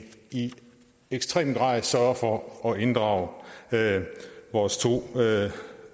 i ekstrem grad sørger for at inddrage vores to